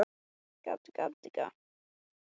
Lillý Valgerður: Allt á floti?